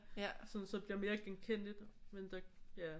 Sådan så det bliver mere genkendeligt men der ja